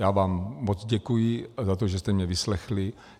Já vám moc děkuji za to, že jste mě vyslechli.